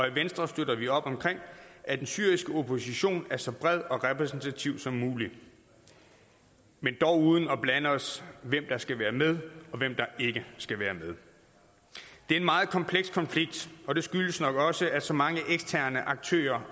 i venstre støtter vi op omkring at den syriske opposition er så bred og repræsentativ som muligt men dog uden at blande os i hvem der skal være med og hvem der ikke skal være med det er en meget kompleks konflikt og det skyldes nok også at så mange eksterne aktører